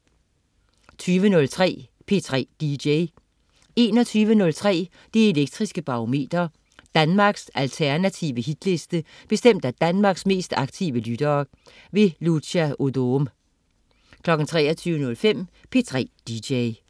20.03 P3 dj 21.03 Det Elektriske Barometer. Danmarks alternative hitliste bestemt af Danmarks mest aktive lyttere. Lucia Odoom 23.05 P3 dj